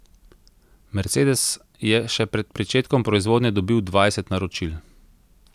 Mercedes je še pred pričetkom proizvodnje dobil dvajset naročil.